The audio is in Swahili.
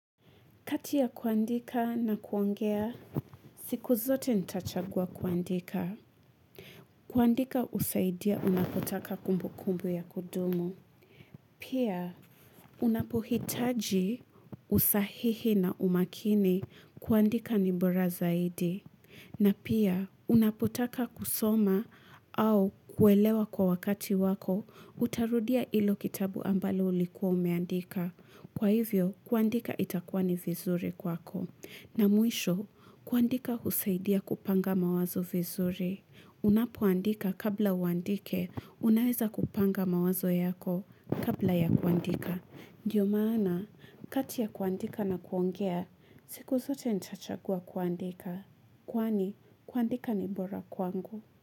Katia kuandika na kuongea, siku zote ntachagua kuandika. Kuandika husaidia unapotaka kumbukumbu ya kudumu. Pia, unapohitaji usahihi na umakini. Kuandika ni bora zaidi. Na pia, unapotaka kusoma au kuelewa kwa wakati wako, utarudia hilo kitabu ambalo ulikuwa umeandika. Kwa hivyo, kuandika itakuwa ni vizuri kwako. Na mwisho, kuandika husaidia kupanga mawazo vizuri. Unapoandika kabla uandike, unaeza kupanga mawazo yako kabla ya kuandika. Ndiyo maana, kati ya kuandika na kuongea, siku zote ntachagua kuandika. Kwani, kuandika ni bora kwangu.